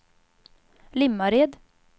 Limmared